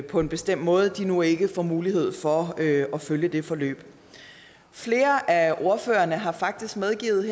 på en bestemt måde nu ikke får mulighed for at følge det forløb flere af ordførerne har faktisk medgivet